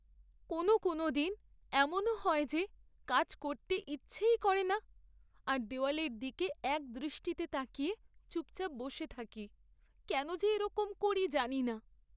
কোনও কোনও দিন এমনও হয় যে কাজ করতে ইচ্ছেই করে না আর দেওয়ালের দিকে একদৃষ্টিতে তাকিয়ে চুপচাপ বসে থাকি, কেন যে এরকম করি জানি না।